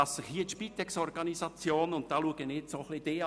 Ich schaue jetzt vor allem Lars Guggisberg an: